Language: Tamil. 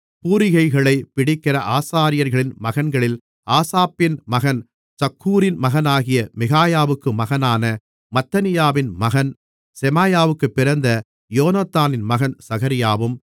பூரிகைகளைப் பிடிக்கிற ஆசாரியர்களின் மகன்களில் ஆசாப்பின் மகன் சக்கூரின் மகனாகிய மிகாயாவுக்கு மகனான மத்தனியாவின் மகன் செமாயாவுக்குப் பிறந்த யோனத்தானின் மகன் சகரியாவும்